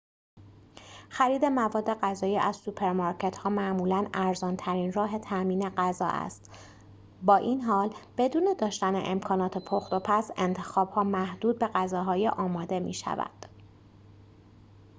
خرید مواد غذایی از سوپرمارکت‌ها معمولاً ارزان‌ترین راه تأمین غذا است با این حال بدون داشتن امکانات پخت‌وپز انتخاب‌ها محدود به غذاهای آماده می‌شود